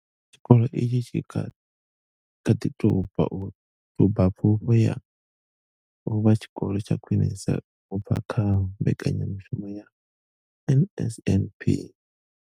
Tshikolo itshi tshi kha ḓi tou bva u thuba Pfufho ya u vha Tshikolo tsha Khwinesa u bva kha mbekanya mushumo ya NSNP.